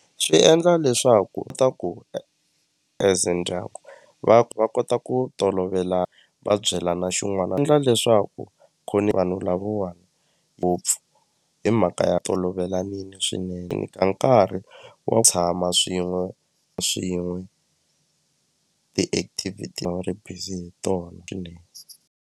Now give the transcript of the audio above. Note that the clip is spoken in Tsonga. Swi endla leswaku ta ku e ze ndyangu va va kota ku tolovela va byelana xin'wana endla leswaku vanhu lavawani ngopfu hi mhaka ya tolovelanile swinene ku nita nkarhi tshama swin'we swin'we ti-activity a wu ri busy hi tona swinene.